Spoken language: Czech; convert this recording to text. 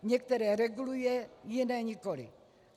Některé reguluje, jiné nikoliv.